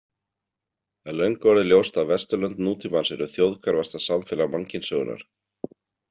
Það er löngu orðið ljóst að Vesturlönd nútímans eru þjóðhverfasta samfélag mannkynssögunnar.